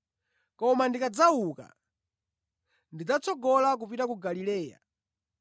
Koma ndikadzauka, ndidzatsogola kupita ku Galileya.”